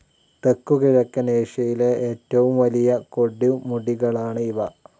തെക്കുകിഴക്കൻ ഏഷ്യയിലെ ഏറ്റവും വലിയ കൊടുമുടികളാണ് ഇവ.